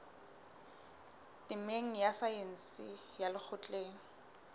temeng ya saense ya lekgotleng